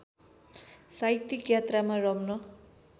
साहित्यिक यात्रामा रम्न